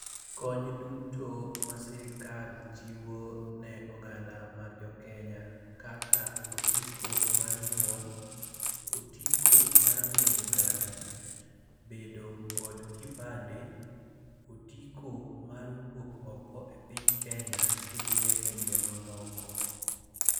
Kony duto masirikal chiwo ne oganda mar jokenya kaka otiko mar nyuol, otiko mar riembo gari, bedo kod kipande, otiko mar wuok oko e piny Kenya kidhie pinje mamoko.